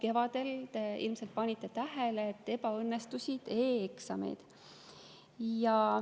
Te ilmselt panite tähele, et kevadel ebaõnnestusid e‑eksamid.